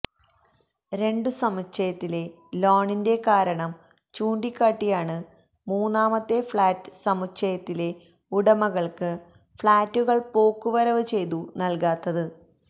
രണ്ടു സമുച്ചയത്തിലെ ലോണിന്റെ കാരണം ചൂണ്ടിക്കാട്ടിയാണ് മൂന്നാമത്തെ ഫ്ളാറ്റ് സമുച്ചയത്തിലെ ഉടമകൾക്ക് ഫ്ളാറ്റുകൾ പോക്കുവരവ് ചെയ്തു നൽകാത്തത്